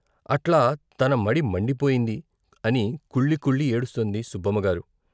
అట్లా తనమడి మండిపోయింది అని కుళ్ళికుళ్ళి ఏడుస్తోంది సుబ్బమ్మగారు.